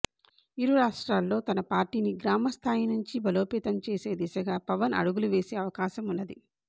ఇరు రాష్ట్రాల్లో తన పార్టీని గ్రామ స్థాయి నుంచి బలోపేతం చేసే దిశగా పవన్ ఆడుగులు వేసే అవకాశం ఉన్నది